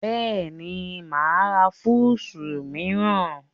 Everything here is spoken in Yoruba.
Bẹ́ẹ̀ni, mà á ra fúùsù mìíràn